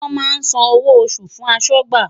Wọ́n máa san owó oṣù fún aṣọ́gbà.